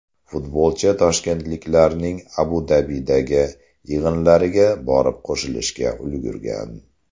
Futbolchi toshkentliklarning Abu Dabidagi yig‘inlariga borib qo‘shilishga ulgurgan.